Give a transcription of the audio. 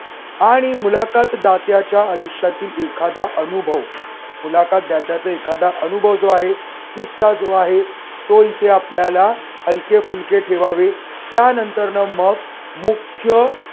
आणि मुलाखत दात्याच्या आयुष्यातील एखादा अनुभव. मुलाखत दात्याचा एखादा अनुभव जो आहे, किस्सा जो आहे, तो इथे आपल्याला हलके फुलके ठेवावे. त्यानंतर न मग मुख्य